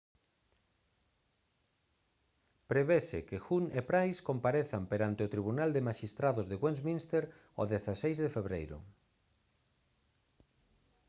prevese que huhne e pryce comparezan perante o tribunal de maxistrados de westminster o 16 de febreiro